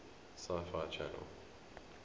sci fi channel